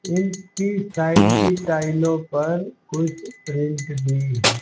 इनकी साइड की टाईलों पर कुछ प्रिंट भी है।